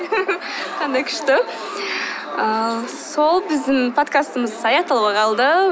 қандай күшті ыыы сол біздің подкастымыз аяқталуға қалды